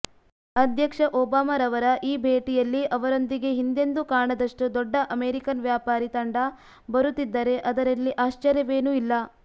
ಅಧ್ಯಕ್ಷ ಒಬಾಮರವರ ಈ ಭೇಟಿಯಲ್ಲಿ ಅವರೊಂದಿಗೆ ಹಿಂದೆಂದೂ ಕಾಣದಷ್ಟು ದೊಡ್ಡ ಅಮೆರಿಕನ್ ವ್ಯಾಪಾರೀ ತಂಡ ಬರುತ್ತಿದ್ದರೆ ಅದರಲ್ಲಿ ಆಶ್ಚರ್ಯವೇನೂ ಇಲ್ಲ